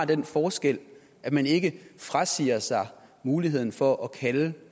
den forskel at man ikke frasiger sig muligheden for at kalde